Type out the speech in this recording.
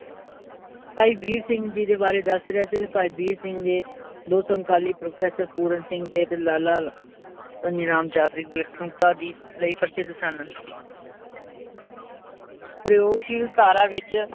ਭਾਈ ਵੀਰ ਸਿੰਘ ਜੀ ਦੇ ਬਾਰੇ ਦੱਸ ਰਿਹਾ ਸੀ ਤੇ ਭਾਈ ਵੀਰ ਸਿੰਘ ਦੋ ਸਮਕਾਲੀ professor ਪੂਰਨ ਸਿੰਘ ਤੇ, ਤੇ ਲਾਲਾ ਧਨੀ ਰਾਮ ਚਾਤ੍ਰਿਕ ਵਿਲੱਖਣਤਾ ਦੀ ਲਈ ਪ੍ਰਸਿੱਧ ਸਨ ਪ੍ਰਯੋਗਸ਼ੀਲ ਧਾਰਾ ਵਿੱਚ